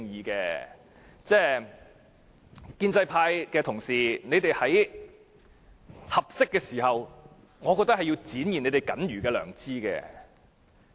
各位建制派的同事，我認為你們也應在合適的時候展現你們僅餘的良知。